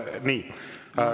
Nii.